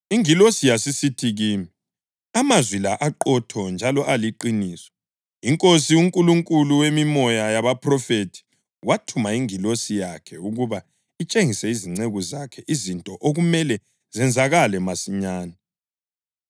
Ingilosi yasisithi kimi, “Amazwi la aqotho njalo aliqiniso. INkosi, uNkulunkulu wemimoya yabaphrofethi wathuma ingilosi yakhe ukuba itshengise izinceku zakhe izinto okumele zenzakale masinyane.”